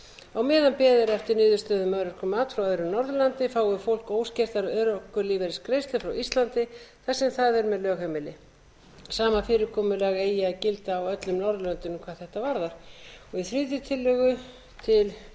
á meðan beðið er eftir niðurstöðu um örorkumat frá öðru norðurlandi fái fólk óskertar örorkulífeyrisgreiðslur frá íslandi þar sem það er með lögheimili sama fyrirkomulag eigi að gilda á öllum norðurlöndunum hvað þetta varðar í þriðju tillögu til